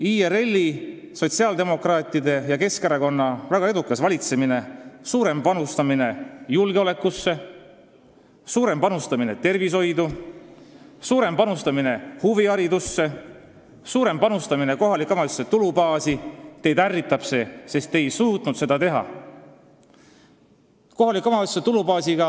IRL-i, sotsiaaldemokraatide ja Keskerakonna väga edukas valitsemine, suurem panustamine julgeolekusse, tervishoidu, huviharidusse ja kohalike omavalitsuste tulubaasi – teid see ärritab, sest te ise ei suutnud seda teha.